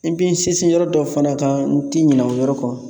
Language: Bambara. N bi n sinsin yɔrɔ dɔ fana kan n ti ɲinɛ o yɔrɔ kɔ